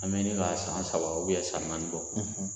An bɛ ɲini ka san saba san naani bɔ